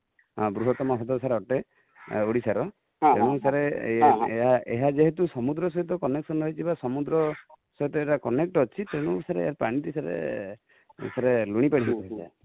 ବୃହତମ ହ୍ରଦ ସାର ଅଟେ ଓଡିଶା ର ଏଣୁ ସାର ଏହା ଯେହେତୁ ସମୁଦ୍ର ସହିତ connection ରହିଛି ବା ସମୁଦ୍ର ସହ ଏହା connect ଅଛି ତେଣୁ ସାର ପାଣି ତା ସାର ଲୁଣି ପାଣି ହେଇ ଥାଏ